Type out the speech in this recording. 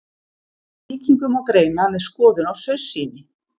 Sýkingu má greina með skoðun á saursýni.